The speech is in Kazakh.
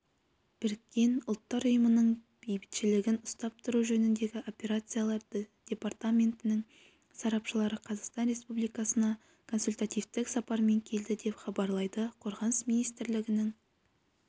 біріккен ұлттар ұйымының бейбітшілігін ұстап тұру жөнінде операциялар департаментінің сарапшылары қазақстан республикасына консультативтік сапармен келді деп хабарлайды қорғаныс министрлігінің